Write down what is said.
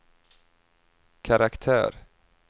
karaktär